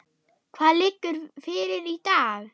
Hvað liggur fyrir í dag?